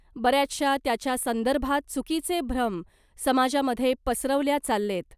बऱ्याचशा त्याच्या संदर्भात चुकीचे भ्रम समाजामधे पसरवल्या चाललेत .